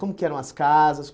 Como que eram as casas?